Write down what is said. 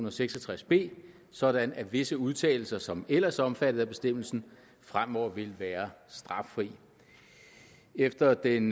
og seks og tres b sådan at visse udtalelser som ellers er omfattet af bestemmelsen fremover vil være straffri efter den